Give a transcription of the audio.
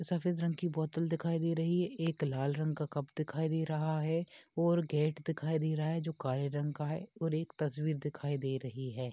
सफ़ेद रंग की बोतल दिखाई दे रही है। एक लाल रंग का कप दिखाई दे रहा है और गेट दिखाई दे रहा है जो काले रंग का है और एक तस्वीर दिखाई दे रही है।